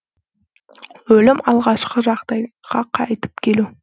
өлім алғашқы жағдайға қайтып келу